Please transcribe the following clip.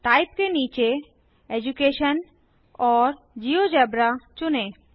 type के नीचे education और जियोजेब्रा चुनें